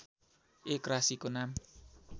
एक राशिको नाम